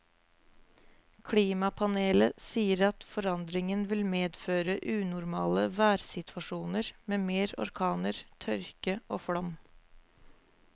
Klimapanelet sier at forandringen vil medføre unormale værsituasjoner med mer orkaner, tørke og flom.